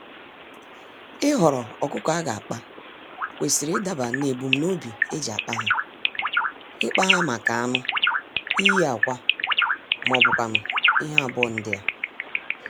Ịhọrọ ọkụkọ aga akpa, kwesịrị idaba nebum nobi eji akpa há; ikpa ha màkà anụ, iyi ákwà mọbụkwanụ̀ ihe abụọ ndịa.